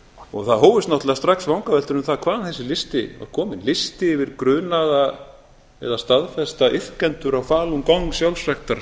og það hófust náttúrlega strax vangaveltur um það hvaðan þessi listi var kominn listi yfir grunaða eða staðfesta iðkendur á falun gong